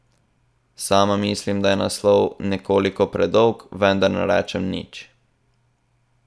Sama mislim, da je naslov nekoliko predolg, vendar ne rečem nič.